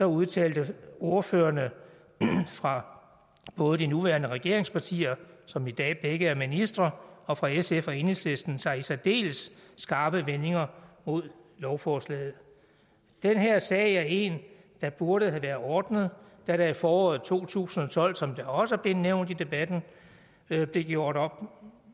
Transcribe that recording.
udtalte ordførerne fra både de nuværende regeringspartier som i dag begge er ministre og fra sf og enhedslisten sig i særdeles skarpe vendinger mod lovforslaget den her sag er en der burde have været ordnet da der i foråret to tusind og tolv som det også er blevet nævnt i debatten blev gjort op